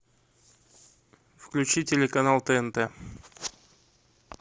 включи телеканал тнт